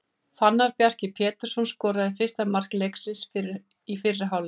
Fannar Bjarki Pétursson skoraði fyrsta mark leiksins í fyrri hálfleik.